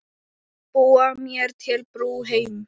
Búa mér til brú heim.